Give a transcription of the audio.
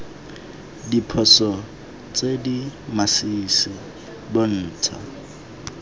diphoso tse di masisi bontsha